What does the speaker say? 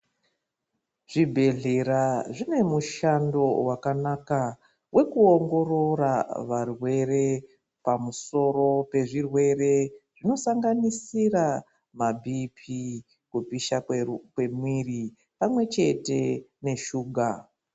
Zvibhedhlera zvinemushando vakanaka vekuonangorora varwere pamusoro pezvirwere zvinosanganisira mabp, kupisha kwemwiri pamwe chete neshuga.